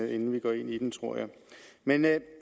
inden vi går ind i det tror jeg men jeg